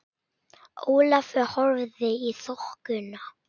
Ólafur horfði í þokuna.